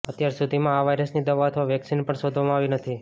અત્યાર સુધીમાં આ વાયરસની દવા અથવા વેક્સીન પણ શોધવામાં આવી નથી